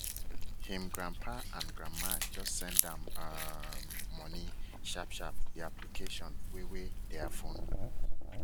him grandpa and grandma just send am um money sharp sharp the application wey wey their phone